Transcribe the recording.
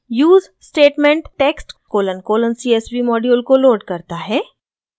use statement text colon colon csv module को load करता है